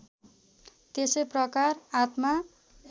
त्यसै प्रकार आत्मा